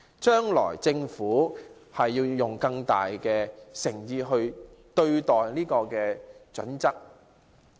將來政府要拿出更大誠意來對待《規劃標準》。